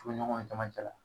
Furuɲɔgnw caman cɛla